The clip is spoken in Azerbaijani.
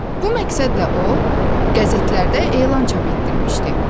Bu məqsədlə o, qəzetlərdə elan çap etdirmişdi.